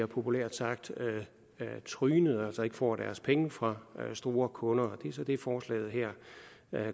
populært sagt bliver trynet altså ikke får deres penge fra store kunder det er så det som forslaget her